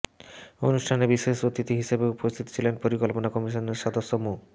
অনুষ্ঠানে বিশেষ অতিথি হিসেবে উপস্থিত ছিলেন পরিকল্পনা কমিশনের সদস্য মো